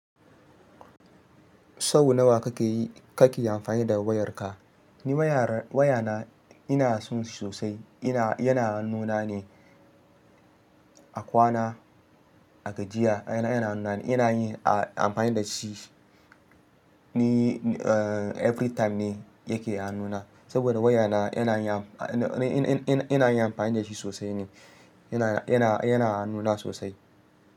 Sau nawa kake yi-- kake amfani da wayarka? Ni wayar-- wayana ina son shi sosai. Ina-- yana hannuna ne, a kwana, a gajiya. Yana, yana, yana yi-- a amfani da shi. Ni, uh, every time ne yake hannuna, saboda wayana yana yam-- ina, ina, ina yi amfani da shi sosai ne. Yana, yana, yana hanuna sosai.